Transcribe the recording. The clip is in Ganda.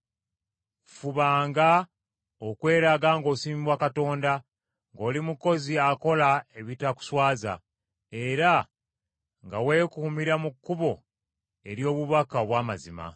Fubanga okweraga ng’osiimibwa Katonda, ng’oli mukozi akola ebitakuswaza, era nga weekuumira mu kkubo ery’obubaka obw’amazima.